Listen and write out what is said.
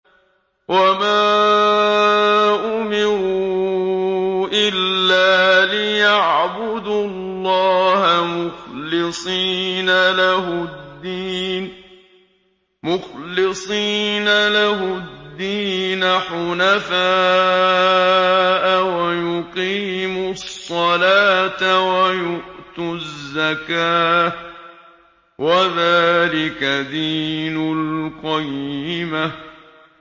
وَمَا أُمِرُوا إِلَّا لِيَعْبُدُوا اللَّهَ مُخْلِصِينَ لَهُ الدِّينَ حُنَفَاءَ وَيُقِيمُوا الصَّلَاةَ وَيُؤْتُوا الزَّكَاةَ ۚ وَذَٰلِكَ دِينُ الْقَيِّمَةِ